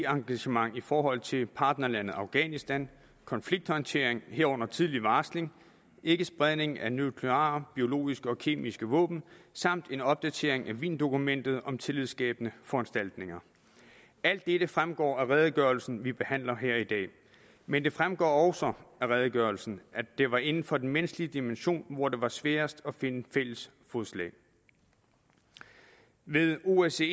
engagement i forhold til partnerlandet afghanistan konflikthåndtering herunder tidlig varsling ikkespredning af nukleare biologiske og kemiske våben samt en opdatering af wiendokumentet om tillidsskabende foranstaltninger alt dette fremgår af redegørelsen vi behandler her i dag men det fremgår også af redegørelsen at det var inden for den menneskelige dimension hvor det var sværest at finde fælles fodslag ved osce